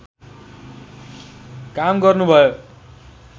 काम गर्नुभयो